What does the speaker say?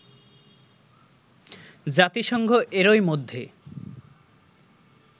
জাতিসংঘ এরই মধ্যে